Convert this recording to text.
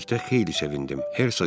Mən bunu eşitdikdə xeyli sevindim.